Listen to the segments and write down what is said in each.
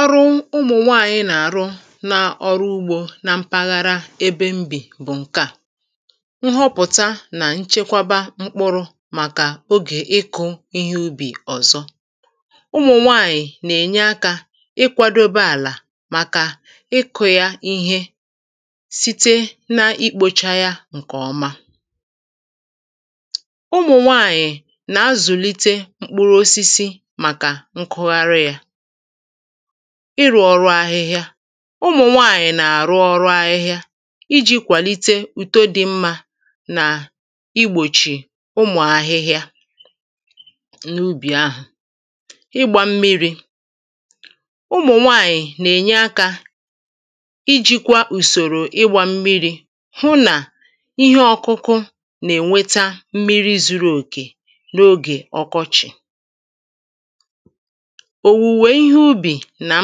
Ọrụ ụmụ̀nwaànyị nà-àrụ n’ọrụ ugbō na mpaghara ebe m bì bụ̀ ǹkeà Nhọpụ̀ta nà nchekwaba mkpụrụ̄ màkà ogè ịkụ̄ ihe ubì̀ ọ̀zọ Ụmụ̀nwaànyị̀ nà-ènye akā ịkwādōbē àlà màkà ịkụ̄ yā ihe site n’ikpōchā yā ǹkè ọma Ụmụ̀nwaànyị̀ nà-azụ̀lite mkpụrụosisi màkà nkụgharị yā Ịrụ̄ ọrụ ahịhịa Ụmụ̀nwaànyị̀ nà-àrụ ọrụ ahịhịa ijī kwàlite ùto dị mmā nà igbòchì ụmụ̀ ahịhịa n’ubì ah̀a Ịgbā̄ mmirī Ụmụ̀nwaànyị̀ nà-ènye akā ijīkwā ùsòrò ịgbā mmirī hụ nà ihe ọkụkụ nà-ènwẹta mmiri zuru òkè n’ogè ọkọchị̀ Òwùwè ihe ubì nà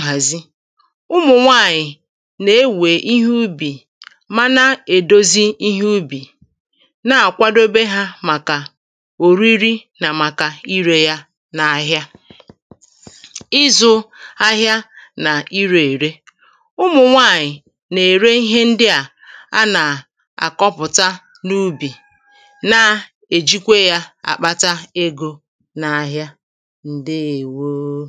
nhàzi Ụmụ̀nwaànyị̀ nà-ewè ihe ubì, mara èdozi ihe ubì, ná-àkwadobe hā màkà òriri nà màkà irē yā n’ahịa Ị́zụ̄ āhị̄ā nà irē ère Ụmụ̀nwaànyị̀ nà-ère ihe ndị à anà-àkọpụ̀ta n’ubì, na-èjikwe ya àkpata egō n’āhị̄ā Ǹdeèwoo